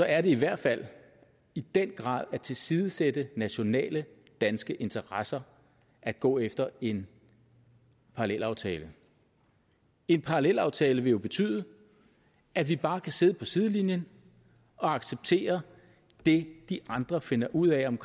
er det i hvert fald i den grad at tilsidesætte nationale danske interesser at gå efter en parallelaftale en parallelaftale vil jo betyde at vi bare kan sidde på sidelinjen og acceptere det de andre finder ud af om